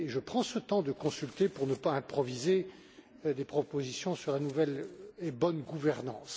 Je prends le temps de consulter pour ne pas improviser des propositions sur la nouvelle et la bonne gouvernance.